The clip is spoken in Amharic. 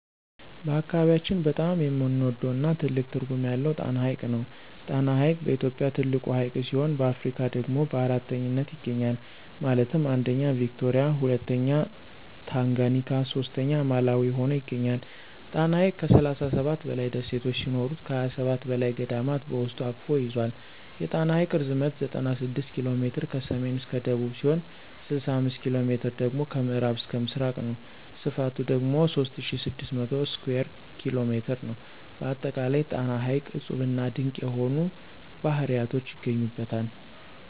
በአካባቢያችን በጣም የምንወደው እና ትልቅ ትርጉም ያለው ጣና ሐይቅ ነው። ጣና ሐይቅ በኢትዮጵያ ትልቁ ሀይቅ ሲሆን በአፍሪካ ደግሞ በአራተኛነት ይገኛል ማለትም 1ኛ ቪክቶሪያ 2ኛ ታንጋኒካ 3ኛ ማላዊ ሁኖ ይገኛል። ጣና ሐይቅ ከ37 በላይ ደሴት ሲኖሩት ከ27 በላይ ገዳማት በውስጡ አቅፎ ይዞል። የጣና ሐይቅ ርዝመት 96 ኪ.ሜ ከሰሜን እስከ ደቡብ ሲሆን 65ኪ.ሜ ደግሞ ከምዕራብ እስከ ምስራቅ ነው። ስፍቱ ደግሞ 3600 ስኩየር ኪ.ሜ ነው። በአጠቃላይ ጣና ሐይቅ እፁብና ድንቅ የሆኑ ባህርያቶች ይገኙበታል።